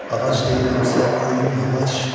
Ağac deyirəmsə, öyünmə ağac.